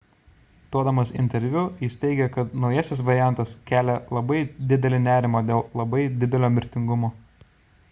duodamas interviu jis teigė kad naujasis variantas kelia labai didelį nerimą dėl labai didelio mirtingumo